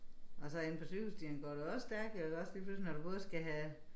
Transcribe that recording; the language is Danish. Og så inde på cykelstien går det også stærkt jo iggås lige pludselig når du både skal have